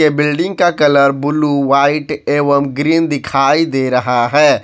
ये बिल्डिंग का colour blue white एवं ग्रीन दिखाई दे रहा है।